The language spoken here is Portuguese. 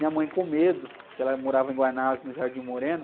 Minha mãe com medo, porque ela morava em no,